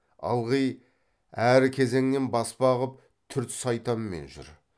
ылғи әр кезеңнен баспа қып түрт сайтанмен жүр